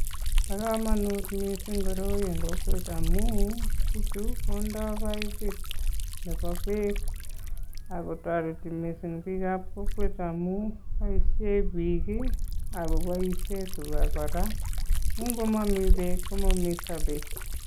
Bo kamanut mising koroi eng kokwet amun biichu kondoi paipit nebo beek ako toreti mising biikab kokwet amun boishen biik ako boishen tuga kora, ko ngomami beek, komami sobet.